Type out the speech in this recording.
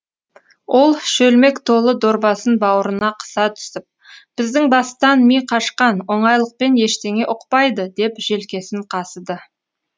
ол шөлмек толы дорбасын бауырына қыса түсіп біздің бастан ми қашқан оңайлықпен ештеңе ұқпайды деп желкесін қасыды